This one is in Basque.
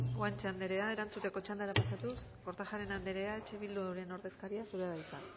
guanche anderea erantzuteko txandara pasatuz kortajarena anderea eh bilduren ordezkaria zurea da hitza